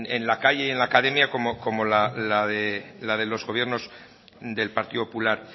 en la calle y en la academia como la de los gobiernos del partido popular